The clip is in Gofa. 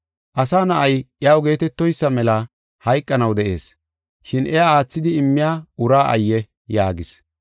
Asa Na7ay iyaw geetetoysa mela hayqanaw de7ees, shin iya aathidi immiya uraa ayye!” yaagis.